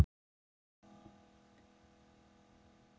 Valdimar gekk til mannanna.